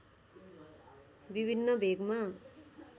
विभिन्न भेगमा